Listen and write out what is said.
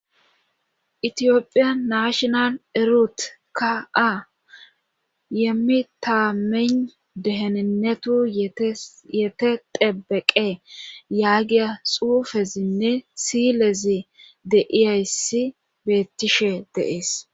Itophphiya naashinalle erut ka a yeemmi taamin dehenenetu yeteteebeqe yaa giya xuufezinne siilezi de'iyayssi beettishshe de'ees